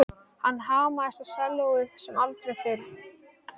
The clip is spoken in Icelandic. Hann hamaðist á sellóið sem aldrei fyrr.